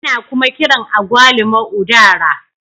Ana kuma kiran Agwaluma " udara"